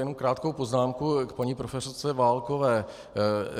Jenom krátkou poznámku k paní profesorce Válkové.